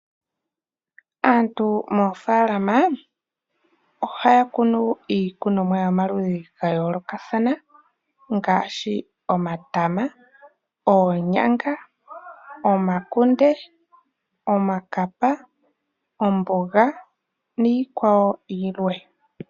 Aantu moofaalama ohaya kunu iikunomwa yomaludhi ga yoolokathana ngaashi omatama, oonyanga, omakunde, iikapa, oomboga niikwawo yilwe.